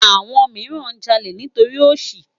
Awòn mirán jàlé nitóri óṣí